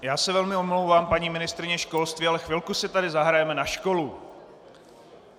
Já se velmi omlouvám, paní ministryně školství, ale chvilku si tady zahrajeme na školu.